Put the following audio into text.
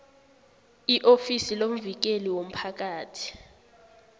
iofisi lomvikeli womphakathi